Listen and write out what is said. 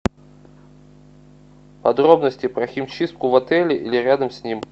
подробности про химчистку в отеле или рядом с ним